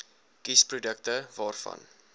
kies produkte waarvan